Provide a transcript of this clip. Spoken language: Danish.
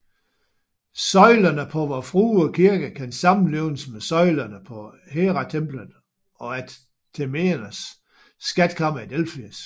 Søjlerne på Vor Frue Kirke kan sammenlignes med søjlerne på Heratemplet og Athernernes skatkammer i Delfi